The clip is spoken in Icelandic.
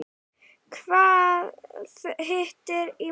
Hvað hittir í mark?